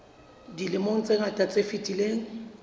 dilemong tse ngata tse fetileng